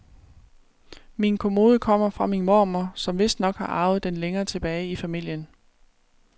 Min kommode kommer fra min mormor, som vistnok har arvet den længere tilbage i familien.